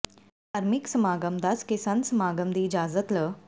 ਧਾਰਮਿਕ ਸਮਾਗਮ ਦੱਸ ਕੇ ਸੰਤ ਸਮਾਗਮ ਦੀ ਇਜਾਜ਼ਤ ਲ